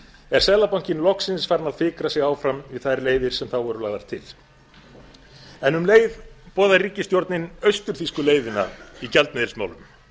er seðlabankinn loksins farinn að fikra sig á fram við þær leiðir sem þá voru lagðar til en um leið boðar ríkisstjórnin austur þýsku leiðina í gjaldmiðilsmálum